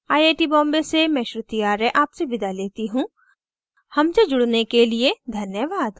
I I T Bombay से मैं श्रुति आर्य आपसे विदा लेती हूँ हमसे जुड़ने धन्यवाद